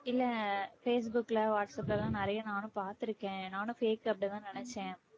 இல்லை ஃபேஸ்புக்ல, வாட்ஸ்ஆப்ல எல்லாம் நிறைய நானும் பார்த்திருக்கேன். நானும் fake அப்படின்னுதான் நினைச்சேன்